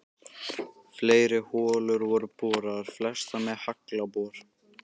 Fleiri holur voru boraðar, flestar með haglabor.